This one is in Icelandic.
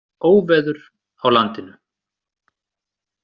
Óveður á landinu